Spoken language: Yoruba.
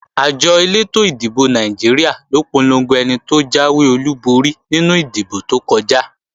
Àjọ elétò ìdìbò Nàìjíríà ló polongo ẹni tó jáwé olúborí nínú ìdìbò tó kọjá